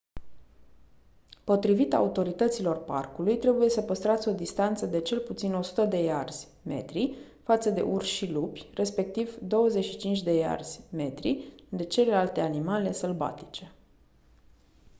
potrivit autorităților parcului trebuie să păstrați o distanță de cel puțin 100 de iarzi/metri față de urși și lupi respectiv 25 de iarzi/metri de celelalte animale sălbatice!